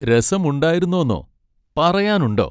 രസമുണ്ടായിരുന്നോന്നോ? പറയാനുണ്ടോ?